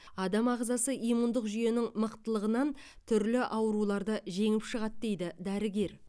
адам ағзасы иммундық жүйенің мықтылығынан түрлі ауруларды жеңіп шығады дейді дәрігер